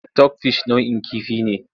Sitok fish nau'in kifi ne.